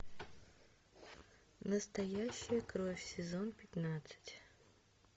настоящая кровь сезон пятнадцать